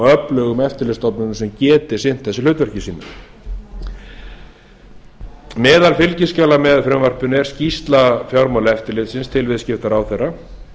öflugum eftirlitsstofnunum sem geti sinnt þessu hlutverki sínu meðal fylgiskjala með frumvarpinu er er skýrsla fjármálaeftirlitsins til viðskiptaráðherra